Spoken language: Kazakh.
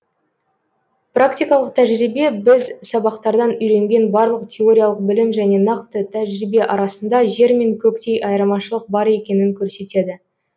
практикалық тәжірибе біз сабақтардан үйренген барлық теориялық білім және нақты тәжірибе арасында жер мен көктей айырмашылық бар екенін көрсетеді